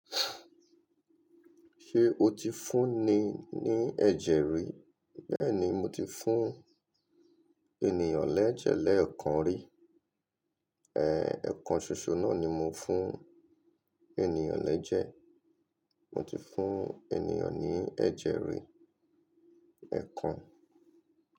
Ṣe o ti fún ni ní ẹ̀jẹ̀ rí? Bẹ́ẹ̀ni, mo ti fún ènìyàn lẹ́jẹ̀ lẹ́ẹ̀kan rí. Ẹ̀ẹ̀, ẹ̀kan ṣoṣo náà ni mo fún ènìyàn lẹ́jẹ̀. Mo ti fún ènìyàn ní ẹ̀jẹ̀ rí, ẹ̀kan.